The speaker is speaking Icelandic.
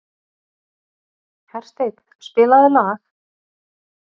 Hersteinn, spilaðu lag.